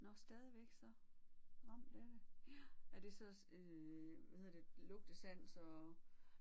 Nåh stadigvæk så ramt af det ja. Er det så øh hvad hedder det lugtesans og